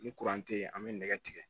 Ni tɛ yen an be nɛgɛ tigɛ